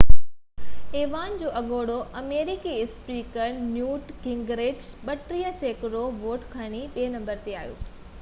ايوان جو اڳوڻو آمريڪي اسپيڪر نيوٽ گنگرچ 32 سيڪڙو ووٽ کڻي ٻئي نمبر تي آيو